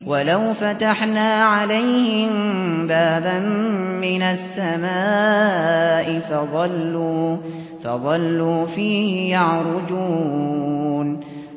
وَلَوْ فَتَحْنَا عَلَيْهِم بَابًا مِّنَ السَّمَاءِ فَظَلُّوا فِيهِ يَعْرُجُونَ